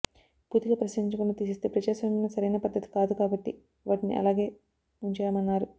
పూర్తిగా పరిశీలించకుండా తీసేస్తే ప్రజాస్వామ్యంలో సరైన పద్దతి కాదు కాబట్టి వాటిని అలాగే ఉంచా మన్నారు